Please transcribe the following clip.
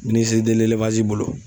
Minisi bolo.